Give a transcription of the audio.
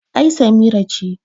ai Samira ce